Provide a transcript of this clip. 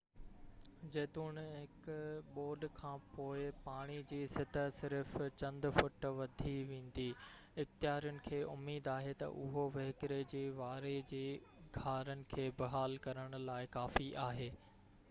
جيتوڻيڪ ٻوڏ کانپوءِ پاڻي جي سطح صرف چند فوٽ وڌي ويندي اختيارين کي اميد آهي ته اهو وهڪري جي واري جي گهارن کي بحال ڪرڻ لاءِ ڪافي آهي